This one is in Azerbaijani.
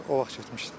O vaxt getmişdim.